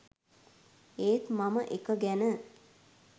ඒත් මම එක ගැන